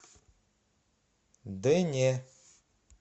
дэне